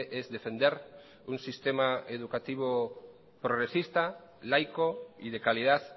es defender un sistema educativo progresista laico y de calidad